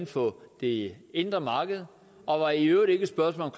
for det indre marked og var i øvrigt ikke et spørgsmål